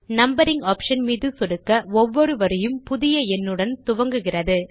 numbering option மீது சொடுக்க ஒவ்வொரு வரியும் புதிய எண்ணுடன் துவங்குகிறது